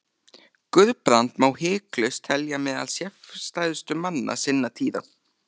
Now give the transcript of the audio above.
Guðbrand má hiklaust telja meðal sérstæðustu manna sinnar tíðar.